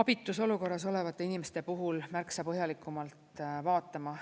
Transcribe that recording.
abitus olukorras olevate inimeste puhul märksa põhjalikumalt vaatama.